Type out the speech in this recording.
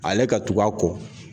Ale ka tug'a kɔ